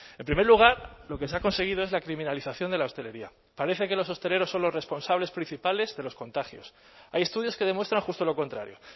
en primer lugar lo que se ha conseguido es la criminalización de la hostelería parece que los hosteleros son los responsables principales de los contagios hay estudios que demuestran justo lo contrario